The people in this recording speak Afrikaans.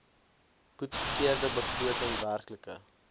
goedgekeurde begroting werklike